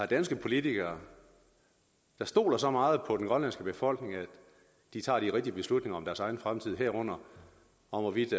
danske politikere der stoler så meget på den grønlandske befolkning at de tager de rigtige beslutninger om deres egen fremtid herunder om hvorvidt